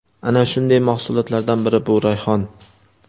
Ana shunday mahsulotlardan biri – bu rayhon.